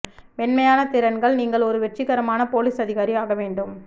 மென்மையான திறன்கள் நீங்கள் ஒரு வெற்றிகரமான பொலிஸ் அதிகாரி ஆக வேண்டும்